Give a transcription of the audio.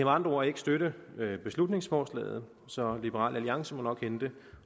andre ord ikke støtte beslutningsforslaget så liberal alliance må nok hente